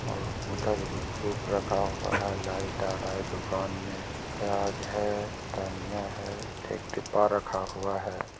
और उधर एगो रखा है लाइट आ रहा है दुकान में। प्याज है धनिया है एक डिब्बा रखा हुआ है।